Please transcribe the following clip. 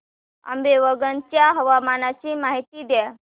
आंबेवंगन च्या हवामानाची माहिती द्या